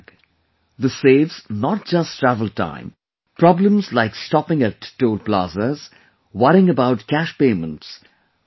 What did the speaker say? This saves not just travel time ; problems like stopping at Toll Plaza, worrying about cash payment are also over